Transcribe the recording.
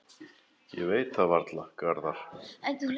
Ég veit það varla, Garðar.